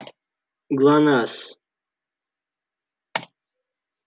глонассс